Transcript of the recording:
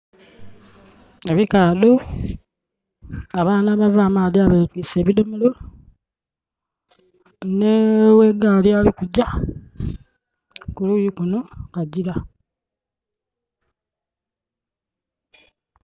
Ebikaadho. Abaana abava amaadhi abetwiise ebidhomolo. Nh'oghegaali ali kugya, kuluuyi kunho kukagyira.